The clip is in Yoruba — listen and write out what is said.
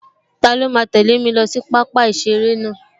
Taló máa tẹ̀lẹ́ mi lọ sí pápá-ìseré náà?